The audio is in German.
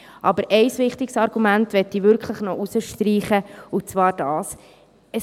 Aber ein wichtiges Argument möchte ich wirklich noch herausstreichen, und zwar dieses: